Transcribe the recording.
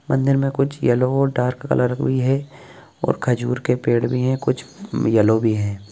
मंदिर में कुछ येल्लो और डार्क कलर भी है और खजूर के पेड़ भी है कुछ येल्लो भी हैं ।